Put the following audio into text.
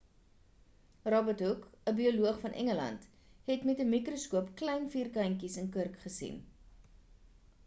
robert hooke 'n bioloog van engeland het met 'n mikroskoop klein vierkantjies in kurk gesien